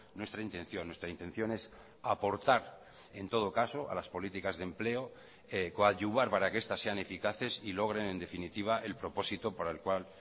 nuestra intención nuestra intención es aportar en todo caso a las políticas de empleo coadyuvar para que estas sean eficaces y logren en definitiva el propósito para el cual